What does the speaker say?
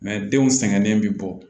denw sɛgɛnnen bi bɔ